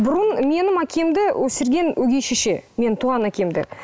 бұрын менің әкемді өсірген өгей шеше менің туған әкемді